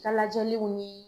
ka lajɛliw ni